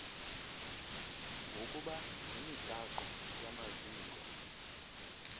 ngokuba yimigaqo yamaziko